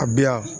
A bi yan